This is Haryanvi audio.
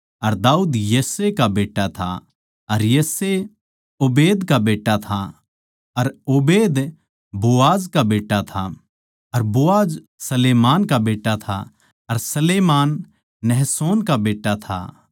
अर दाऊद यिशै का बेट्टा था अर यिशै ओबेद का बेट्टा था अर ओबेद बोआज का बेट्टा था अर बोआज सलमोन का बेट्टा था अर सलमोन नहशोन का बेट्टा था